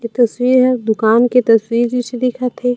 ए तस्वीर ह दूकान के तस्वीर जइसे दिखत हे।